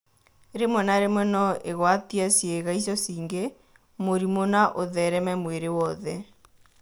Rĩmwe na rĩmwe no ĩgwatie ciĩga icio cingĩ mũrimũ na ũthereme mwĩrĩ wothe.